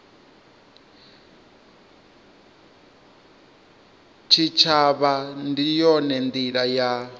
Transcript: tshitshavha ndi yone ndila ya